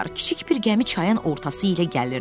Kiçik bir gəmi çayın ortası ilə gəlirdi.